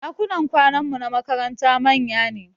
Ɗakunan kwananmu na makaranta manya ne